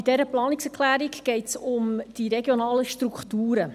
Bei dieser Planungserklärung geht es um die regionalen Strukturen.